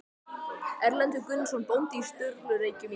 Erlendur Gunnarsson bóndi á Sturlureykjum í